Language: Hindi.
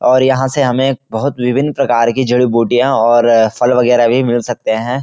और यहाँ से हमें बहोत विभिन्न प्रकार के जड़ीबूटियां और फल वगेरा भी मिल सकते है।